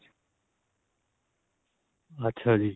ਅੱਛਾ ਜੀ.